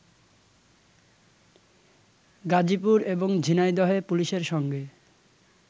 গাজিপুর এবং ঝিনাইদহে পুলিশের সঙ্গে